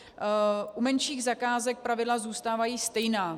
U menších zakázek pravidla zůstávají stejná.